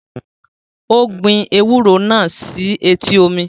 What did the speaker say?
Ó gbin ewúro náà sí etí omi